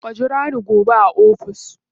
Ka jira ni gobe a ofis.